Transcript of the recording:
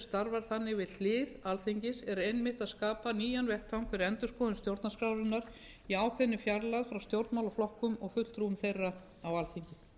starfar þannig við hlið alþingis er einmitt að skapa nýjan vettvang fyrir endurskoðun stjórnarskrárinnar í ákveðinni fjarlægð frá stjórnmálaflokkum og fulltrúum þeirra á alþingi